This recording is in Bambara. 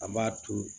An b'a to